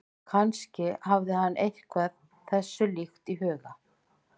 Kannski hafði hann eitthvað þessu líkt í huga.